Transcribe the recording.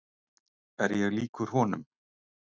Er ég líkur honum?